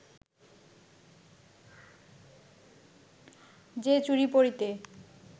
যে চুড়ি পরিতে